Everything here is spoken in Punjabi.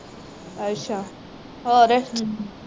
ਅੱਛਾ ਹੋਰ